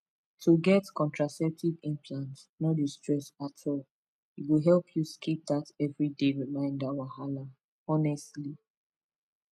to get contraceptive implant no dey stress at all e go help you skip that everyday reminder wahala honestly